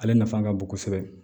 Ale nafa ka bon kosɛbɛ